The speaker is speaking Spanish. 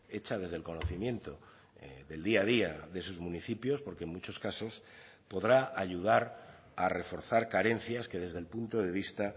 hecha desde el conocimiento del día a día de sus municipios porque en muchos casos podrá ayudar a reforzar carencias que desde el punto de vista